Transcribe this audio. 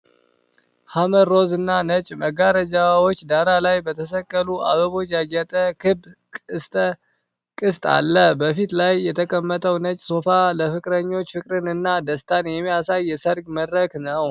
ሐመር ሮዝ እና ነጭ መጋረጃዎች ዳራ ላይ በተሰቀሉ አበቦች ያጌጠ ክብ ቅስት አለ። በፊቱ ላይ የተቀመጠው ነጭ ሶፋ ለፍቅረኞች ፍቅርን እና ደስታን የሚያሳይ የሰርግ መድረክ ነው።